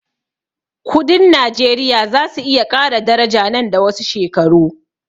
Kudin najeriya zasu iya ƙara daraja nan da wasu shekaru